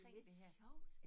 Det lidt sjovt